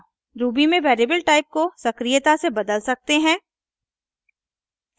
ruby में variable type को सक्रियता से बदल सकते हैं